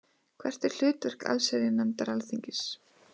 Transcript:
Hvert er hlutverk allsherjarnefndar Alþingis?